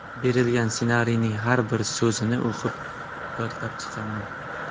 Berilgan ssenariyning har bir so‘zini o‘qib yodlab chiqaman.